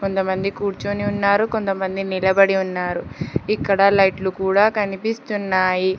కొంతమంది కూర్చొని ఉన్నారు కొంత మంది నిలబడి ఉన్నారు ఇక్కడ లైట్ లు కూడా కనిపిస్తున్నాయి.